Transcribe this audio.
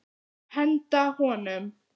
Henda honum?